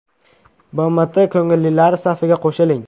BMT ko‘ngillilari safiga qo‘shiling.